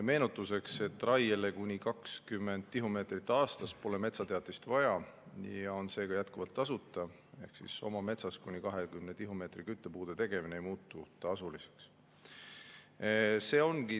Meenutuseks, raiele kuni 20 tihumeetrit aastas pole metsateatist vaja, seega oma metsas kuni 20 tihumeetri küttepuude tegemine ei muutu tasuliseks, see on jätkuvalt tasuta.